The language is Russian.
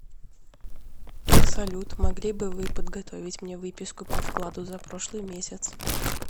салют могли бы вы подготовить мне выписку по вкладу за прошлый месяц